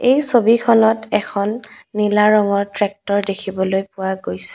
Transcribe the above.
এই ছবিখনত এখন নীলা ৰঙৰ ট্ৰেক্টৰ দেখিবলৈ পোৱা গৈছ--